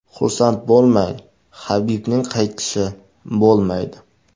Xursand bo‘lmang, Habibning qaytishi bo‘lmaydi.